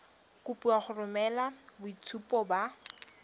kopiwa go romela boitshupo ba